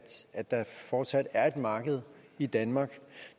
der fortsat er et marked i danmark